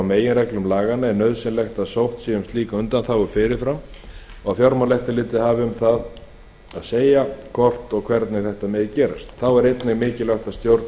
meginreglum laganna er nauðsynlegt að sótt sé um slíka undanþágu fyrir fram og að fjármálaeftirlitið hafi um það að segja hvort og hvernig þetta megi gerast þá er einnig mikilvægt að stjórn